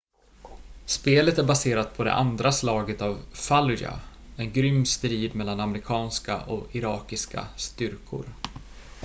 spelet är baserat på det andra slaget om fallujah en grym strid mellan amerikanska och irakiska styrkor